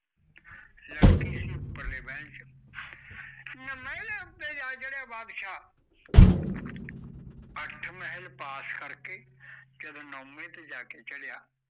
ਲੜਕੀ ਸੀ ਉੱਪਰਲੇ ਮਹਿਲ ਚ ਹੁਣ ਮਹਿਲਾ ਉੱਤੇ ਜਾ ਚੜਿਆ ਬਾਦਸ਼ਾਹ ਅੱਠ ਮਹਿਲ ਪਾਸ ਕਰ ਕੇ, ਜਦੋਂ ਨੋਵੇ ਤੇ ਜਾ ਕੇ ਚੜਿਆ